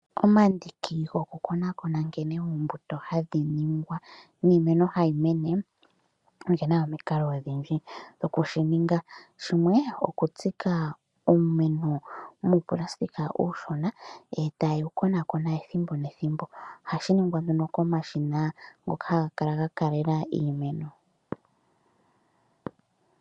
Omandiki gokukonakona nkene oombuto hadhi ningwa niimeno hayi mene, oge na omikalo odhindji dhoku shi ninga. Shimwe okutsika uumeno muupulasitika uushona, e taye wu konakona ethimbo nethimbo. Ohashi ningwa komashina ngono haga kala ga kaalela iimeno.